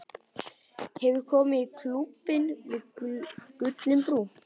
Hefurðu komið í Klúbbinn við Gullinbrú?